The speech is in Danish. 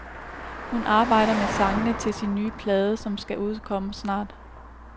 Hun arbejder med sangene til sin nye plade, som skal udkomme snart.